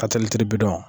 bi dɔn